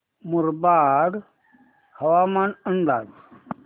मुरबाड हवामान अंदाज